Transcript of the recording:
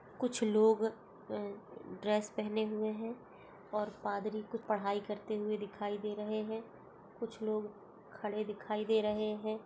कुछ लोग अ ड्रेस पहने हुए हैं और पादरी की पढाई करते हुए दिखाई दे रहे हैं कुछ लोग खड़े दिखाई दे रहे हैं